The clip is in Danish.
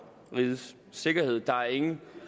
rigets sikkerhed der er ikke